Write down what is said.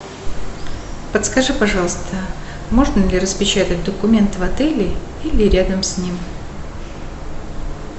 подскажи пожалуйста можно ли распечатать документ в отеле или рядом с ним